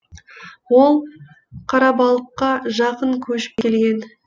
ол қарабалыққа жақын көшіп келген